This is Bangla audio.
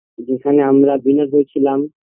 যেখানে আমরা winner হয়েছিলাম